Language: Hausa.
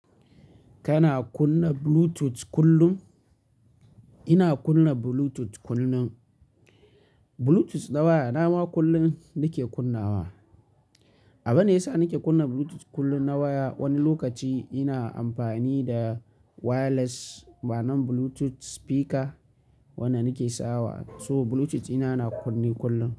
Kana kunna Bluetooth kullum? Ina kunna Bluetooth kullum. Bluetooth na wayana ma kullum nike kunnawa. Abin da yasa nike kunna Bluetooth kullum na waya, wani lokaci ina amfani da wireless ma'anan Bluetooth speaker wanda nike sawa. So Bluetooth dina, na kunne kullum.